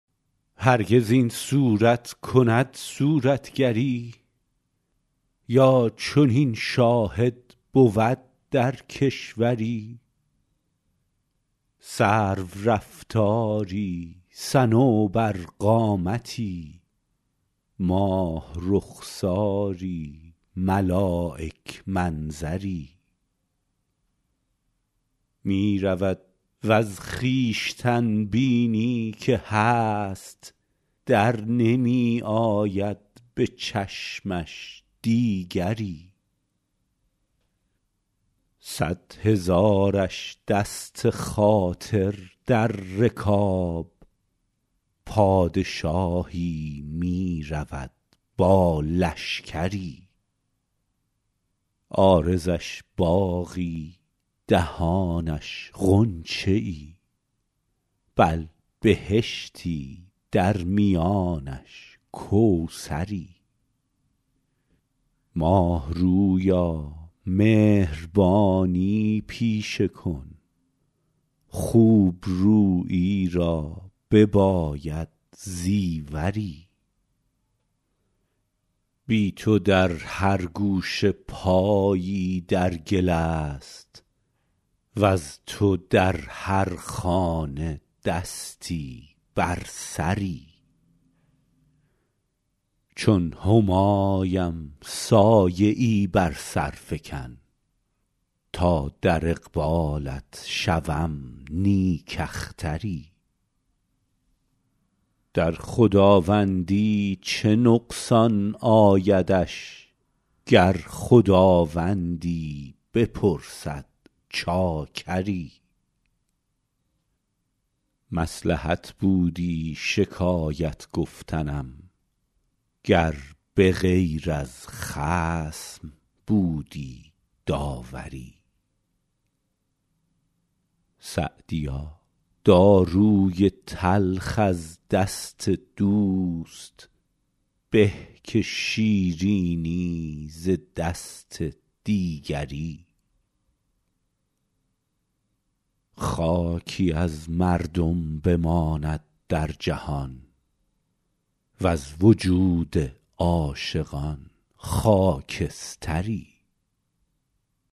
هرگز این صورت کند صورتگری یا چنین شاهد بود در کشوری سرورفتاری صنوبرقامتی ماه رخساری ملایک منظری می رود وز خویشتن بینی که هست در نمی آید به چشمش دیگری صد هزارش دست خاطر در رکاب پادشاهی می رود با لشکری عارضش باغی دهانش غنچه ای بل بهشتی در میانش کوثری ماه رویا مهربانی پیشه کن خوب رویی را بباید زیوری بی تو در هر گوشه پایی در گل است وز تو در هر خانه دستی بر سری چون همایم سایه ای بر سر فکن تا در اقبالت شوم نیک اختری در خداوندی چه نقصان آیدش گر خداوندی بپرسد چاکری مصلحت بودی شکایت گفتنم گر به غیر از خصم بودی داوری سعدیا داروی تلخ از دست دوست به که شیرینی ز دست دیگری خاکی از مردم بماند در جهان وز وجود عاشقان خاکستری